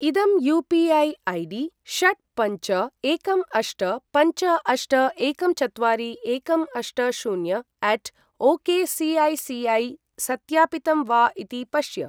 इदं UPI. ID षट् पञ्च एकं अष्ट पञ्च अष्ट एकं चत्वारि एकं अष्ट शून्य at O K C I C I सत्यापितम् वा इति पश्य।